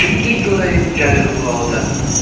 Kimdir görəyim gəlir buradan?